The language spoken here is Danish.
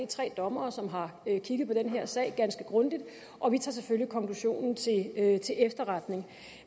tre dommere som har kigget på den her sag ganske grundigt og vi tager selvfølgelig konklusionen til efterretning